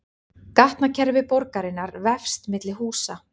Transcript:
Gatnakerfi borgarinnar vefst milli húsa